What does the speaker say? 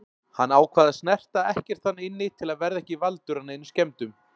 Hann ákvað að snerta ekkert þarna inni til að verða ekki valdur að neinum skemmdum.